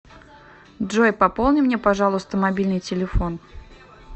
джой пополни мне пожалуйста мобильный телефон